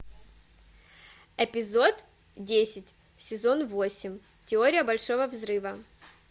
эпизод десять сезон восемь теория большого взрыва